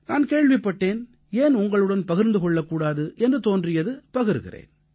நான் கேள்விப்பட்டேன் ஏன் உங்களுடன் பகிர்ந்து கொள்ளக்கூடாது என்று தோன்றியது பகிர்கிறேன்